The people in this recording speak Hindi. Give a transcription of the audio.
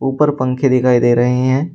ऊपर पंखे दिखाई दे रहे हैं।